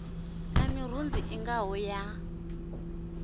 na mirunzi i ngaho ya